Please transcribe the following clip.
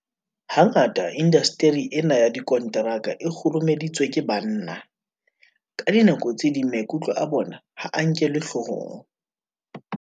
Hangata indasteri ena ya dikonteraka e kgurumeditswe ke banna. Ka dinako tse ding maikutlo a bona ha a nkelwe hloohong.